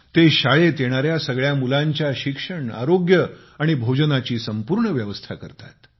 ते शाळेत येणाऱ्या सगळ्या मुलांच्या शिक्षण आरोग्य आणि भोजनाची संपूर्ण व्यवस्था करतात